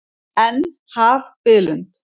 En, haf biðlund.